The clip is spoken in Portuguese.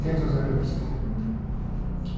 Teatro de revista. Hum.